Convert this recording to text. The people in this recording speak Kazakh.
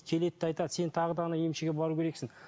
келеді де айтады сен тағы да ана емшіге бару керексің